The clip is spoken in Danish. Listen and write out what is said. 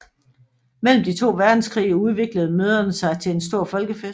Mellem de to verdenskrige udviklede møderne sig til en stor folkefest